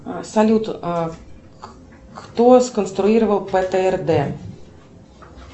салют кто сконструировал птрд